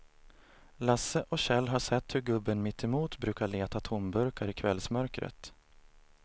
Lasse och Kjell har sett hur gubben mittemot brukar leta tomburkar i kvällsmörkret.